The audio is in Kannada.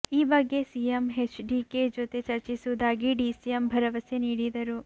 ಈ ಬಗ್ಗೆ ಸಿಎಂ ಹೆಚ್ಡಿಕೆ ಜೊತೆ ಚರ್ಚಿಸುವುದಾಗಿ ಡಿಸಿಎಂ ಭರವಸೆ ನೀಡಿದರು